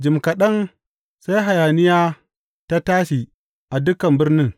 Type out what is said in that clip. Jim kaɗan sai hayaniya ta tashi a dukan birnin.